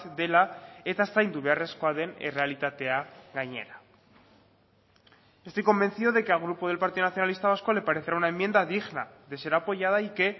dela eta zaindu beharrezkoa den errealitatea gainera estoy convencido de que al grupo del partido nacionalista vasco le parecerá una enmienda digna de ser apoyada y que